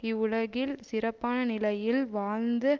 இவ்வுலகில் சிறப்பான நிலையில் வாழ்ந்த